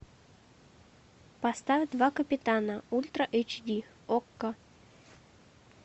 поставь два капитана ультра эйч ди окко